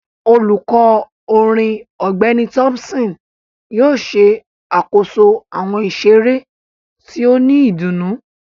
Olukọ orin Ọgbẹni Thompson yóò ṣe akoso awọn iṣere ti o ni idunnu